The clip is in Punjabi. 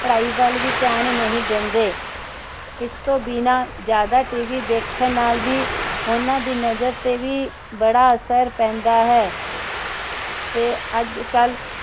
ਪੜਾਈ ਵੱਲ ਵੀ ਧਯਾਨ ਨਹੀਂ ਦੇਂਦੇ ਇਸਤੋਂ ਬਿਨਾਂ ਜ਼ਿਆਦਾ TV ਦੇਖਣ ਨਾਲ ਵੀ ਉੰਨਾ ਦੀ ਨਜਰ ਤੇ ਵੀ ਬੜਾ ਅਸਰ ਪੈਂਦਾ ਹੈ ਤੇ ਅੱਜਕਲ